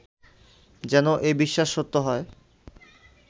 যেন এ বিশ্বাস সত্য হয়